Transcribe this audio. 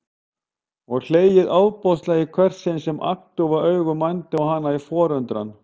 Og hlegið ofboðslega í hvert sinn sem agndofa augu mændu á hana í forundran.